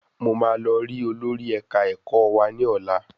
Mo máa lọ rí olórí ẹ̀ka ẹ̀kọ́ wa ní ọlá.